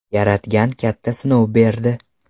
Yaratgan katta sinov berdi.